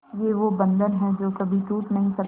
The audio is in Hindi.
ये वो बंधन है जो कभी टूट नही सकता